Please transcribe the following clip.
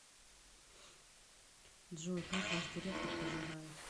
джой как ваш директор поживает